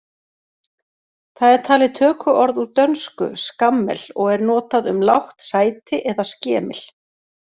Það er talið tökuorð úr dönsku skammel og er notað um lágt sæti eða skemil.